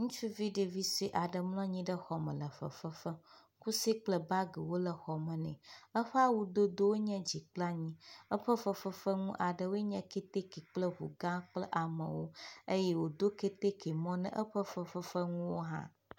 Ŋutsuvi ɖevi sue aɖe mlɔ anyi ɖe xɔme le fefe fem. Kusɛ kple bagiwo le xɔme nɛ. Eƒe awudodowo nye dzi kpla nyi. Eƒe fefefenu aɖewoe nye kɛtɛkɛ kple ŋugã kple aŋɔwo eye wòdo kɛtɛkɛ mɔ na eƒe fefefenuwo hã.